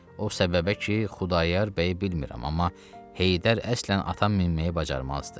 O səbəbə ki, Xudayar bəyi bilmirəm, amma Heydər əslən ata minməyi bacarmazdı.